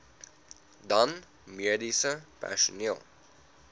dan mediese personeel